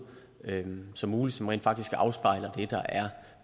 som muligt som rent faktisk afspejler det der er